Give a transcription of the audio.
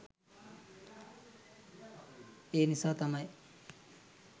ඒනිසා තමයි